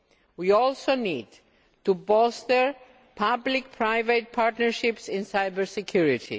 We also need to bolster public private partnerships in cyber security.